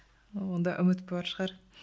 онда үміт бар шығар